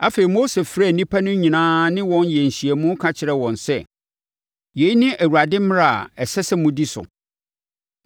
Afei, Mose frɛɛ nnipa no nyinaa ne wɔn yɛɛ nhyiamu ka kyerɛɛ wɔn sɛ, “Yei ne Awurade mmara a ɛsɛ sɛ modi so.